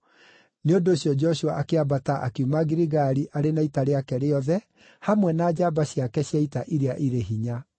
Nĩ ũndũ ũcio Joshua akĩambata akiuma Giligali arĩ na ita rĩake rĩothe hamwe na njamba ciake cia ita iria irĩ hinya.